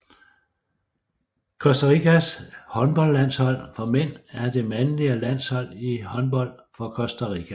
Costa Ricas håndboldlandshold for mænd er det mandlige landshold i håndbold for Costa Rica